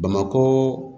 Bamakɔ